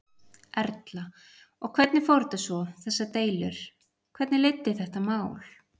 Erla: Og hvernig fór þetta svo, þessar deilur, hvernig leiddi þetta mál?